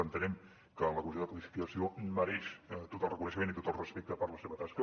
entenem que la comissió de codificació mereix tot el reconeixement i tot el respecte per la seva tasca